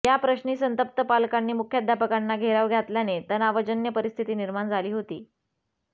याप्रश्नी संतप्त पालकांनी मुख्याध्यापकांना घेराव घातल्याने तणावजन्य परिस्थिती निर्माण झाली होती